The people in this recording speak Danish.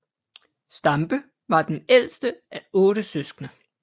Stampe var den ældste af 8 søskende